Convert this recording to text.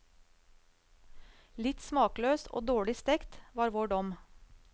Litt smakløs og litt dårlig stekt, var vår dom.